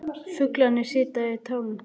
Fuglarnir sitja í trjánum.